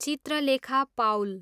Chitralekha Paul